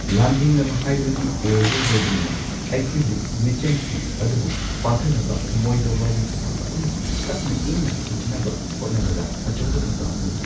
ꯂꯥꯟꯊꯦꯡꯅꯕ ꯍꯥꯏꯕꯗꯨꯗꯤ ꯑꯣꯏꯔꯔꯣꯏꯗꯧꯕꯅꯤꯅ ꯑꯩꯈꯣꯏꯒꯤ ꯃꯤꯆꯝꯁꯤꯡ ꯑꯗꯨꯕꯨ ꯐꯥꯊꯅꯕ ꯃꯣꯏꯗ ꯋꯥꯔꯤ ꯁꯥꯕ ꯑꯃꯁꯨꯡ ꯇꯞꯅ ꯏꯪꯅ ꯁꯥꯅꯅꯕ ꯍꯣꯠꯅꯕꯗ ꯑꯆꯧꯕ ꯊꯧꯗꯥꯡ ꯑꯣꯏ꯫